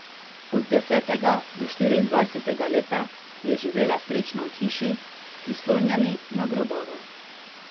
Od desetega do štiriindvajsetega leta je živela srečno v hiši, prislonjeni na grobove.